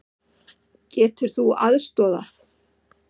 Getur þú aðstoðað?